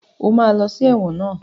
O ma lọ ẹ̀wọ̀n náà!